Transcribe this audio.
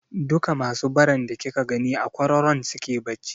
Duka masu baran da kika gani a kwararon suke bacci.